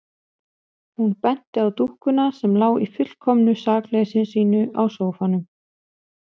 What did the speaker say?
Hún benti á dúkkuna sem lá í fullkomnu sakleysi sínu á sófanum.